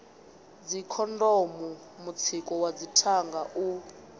dzikhondomu mutsiko wa dzithanga u